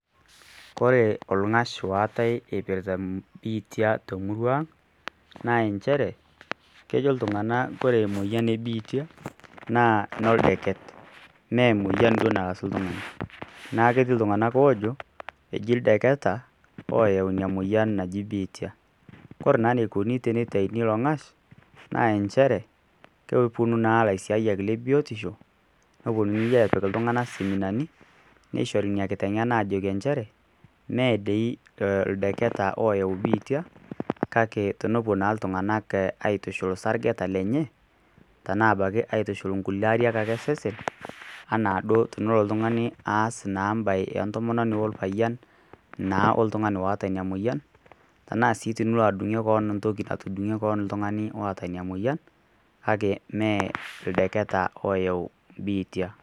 Koree ng'ash oatae eipirrta ebiitia te murrua aang' naa inchere kejo ltunganak kore emoyian ebiitia naa oldeket, naa emoyian duo narasu ltungaani, naaku ketii ltunganak oojo eji ldeketa apa oyeu ina moyian naji biitia, kore naa neikoni teneitaini ilo ng'ash naa inchere keponu naa lsiayak le biotisho, neponii aapik ltungana seminani, neishori ina kitengena aajoki inchere mee dei oldeketa ooyau biitia kake tenepo naa ltungana aitushul sargeta lenyee anaa abaki aitushukul mkule ariak ake esesen anaado tenelo ltungani aas naa imbaye entomononi olpayen naa oltungani oota ina moyian, tanaa si tenilo adung'ir keon ntoki natudung'ie keon ltungani oota ina moyian kake mee oldeketa ooyau biitia.